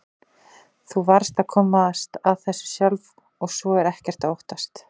Þú varðst að komast að þessu sjálf og svo er ekkert að óttast.